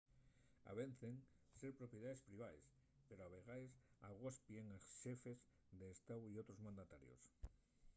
avecen ser propiedaes privaes pero a vegaes agospien a xefes d'estáu y otros mandatarios